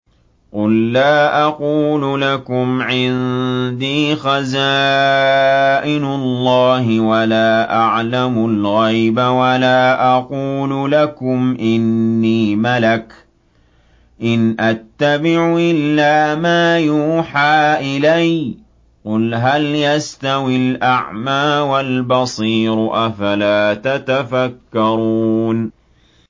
قُل لَّا أَقُولُ لَكُمْ عِندِي خَزَائِنُ اللَّهِ وَلَا أَعْلَمُ الْغَيْبَ وَلَا أَقُولُ لَكُمْ إِنِّي مَلَكٌ ۖ إِنْ أَتَّبِعُ إِلَّا مَا يُوحَىٰ إِلَيَّ ۚ قُلْ هَلْ يَسْتَوِي الْأَعْمَىٰ وَالْبَصِيرُ ۚ أَفَلَا تَتَفَكَّرُونَ